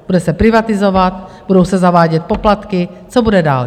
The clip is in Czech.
Bude se privatizovat, budou se zavádět poplatky, co bude dál?